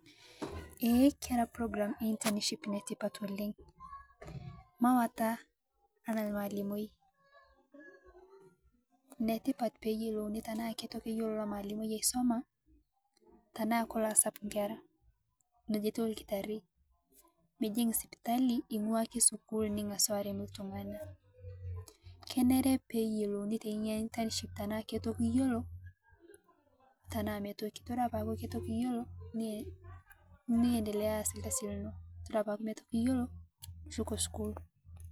Ee kera (cs program ee internship cs)netipat oleng mawata ana malimoi, netipat peeyilouni tanaa keitoki eyiolo lomalimoi aisoma tanaa kelo asap nkera , neja etuu lkitarii, mijik sipitali ingwaa ake skull ning'asu arem ltung'ana, kenere peyilouni tenia (cs internship cs)tanaa ketoki iyiolo tanaa metoki, todua ketoki iyiolo niendelea aaslkasi lino, todua tanaa metoki nishuko skull.